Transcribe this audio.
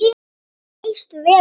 Þú leist vel út.